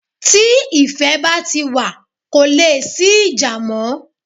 Tí ìfẹ́ bá ti wa, ko leè sí ìjà mọ́